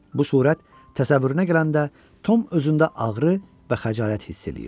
Bu surət təsəvvürünə gələndə Tom özündə ağrı və xəcalət hiss eləyirdi.